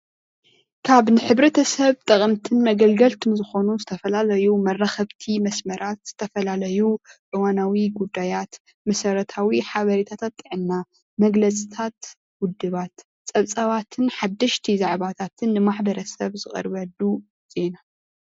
ካብ ንሕብረተሰብ ጠቀምትን መገልገልትን ዝኾኑ ዝተፈላለዩ መራኸብቲ መሦመራት ዝተፈላለዩ እዋናዊ ጉዳያት መሠረታዊ ሓቤረታታት ጥዕና እዩ።